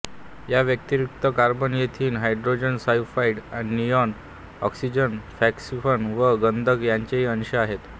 या व्यतिरिक्त carbon ethane hydrogen sulphide neon oxygen phosphine व गंधक यांचेही अंश आहेत